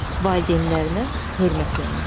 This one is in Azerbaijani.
Valideynlərinə hörmətlə yanaşmaq.